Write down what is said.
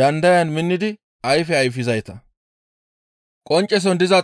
dandayan minnidi ayfe ayfizayta.